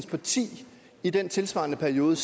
parti i den tilsvarende periode